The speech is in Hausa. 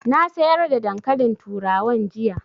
Na sayar da dankalin turawan jiya